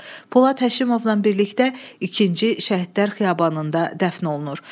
Polad Həşimovla birlikdə ikinci Şəhidlər Xiyabanında dəfn olunur.